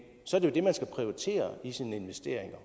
så er det jo det man skal prioritere i sine investeringer